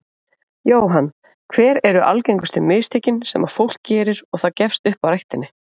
Jóhann: Hver eru algengustu mistökin sem að fólk gerir og það gefst upp á ræktinni?